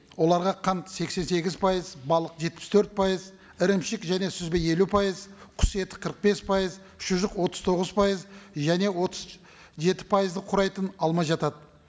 оларға қант сексен сегіз пайыз балық жетпіс төрт пайыз ірімшік және сүзбе елу пайыз құс еті қырық бес пейыз шұжық отыз тоғыз пайыз және отыз жеті пайызды құрайтын алма жатады